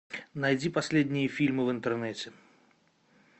найди последние фильмы в интернете